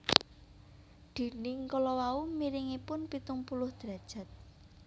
Dinding kala wau miringipun pitung puluh derajat